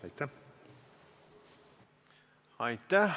Aitäh!